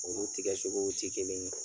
Olu tigɛ cogow tɛ kelen ye.